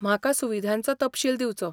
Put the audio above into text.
म्हाका सुविधांचो तपशील दिवचो.